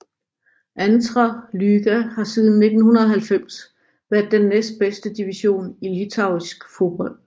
Antra lyga har siden 1990 været den tredjebedste division i litauisk fodbold